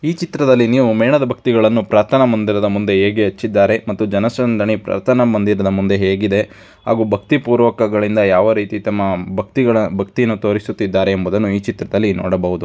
ಈ ಚಿತ್ರದಲ್ಲಿ ನೀವು ಮೇಣದ ಬತ್ತಿಯನ್ನು ಪ್ರಾರ್ಥನಾ ಮಂದಿರದ ಮುಂದೆ ಹೇಗೆ ಹಚ್ಚಿದ್ದಾರೆ ಮತ್ತು ಜನಸಂದಣಿ ಪ್ರಾರ್ಥನಾ ಮಾಡಿರದ ಮುಂದೆ ಹೇಗಿದೆ ಹಾಗೆ ಭಾತಿಪೂರ್ವಕಗಳಿಂದ ಯಾವ ರೀತಿ ತಮ್ಮ ಭಕ್ತಿಗಳ ಭಕ್ತಿಯನ್ನ ತೋರಿಸುತ್ತಿದ್ದಾರೆ ಎಂಬುದನ್ನು ಈ ಚಿತ್ರದಲ್ಲಿ ನೋಡಬಹುದು.